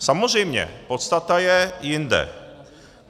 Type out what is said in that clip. Samozřejmě, podstata je jinde.